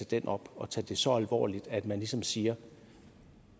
den op og tage det så alvorligt at man ligesom siger